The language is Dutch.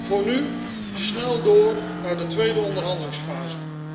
Voor nu snel door naar de tweede onderhandelingsfase.